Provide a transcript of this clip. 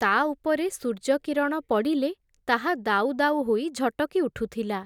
ତା ଉପରେ ସୂର୍ଯ୍ୟ କିରଣ ପଡ଼ିଲେ, ତାହା ଦାଉ ଦାଉ ହୋଇ ଝଟକି ଉଠୁଥିଲା ।